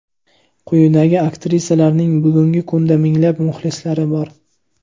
Quyidagi aktrisalarning bugungi kunda minglab muxlislari bor.